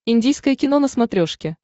индийское кино на смотрешке